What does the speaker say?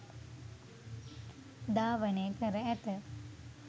ධාවන කර ඇත.